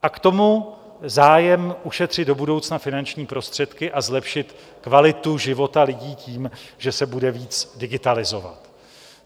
A k tomu zájem ušetřit do budoucna finanční prostředky a zlepšit kvalitu života lidí tím, že se bude víc digitalizovat.